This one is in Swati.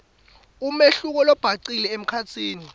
umehluko lobhacile emkhatsini